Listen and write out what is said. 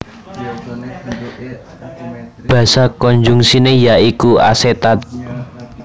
Basa konjungsiné ya iku asetat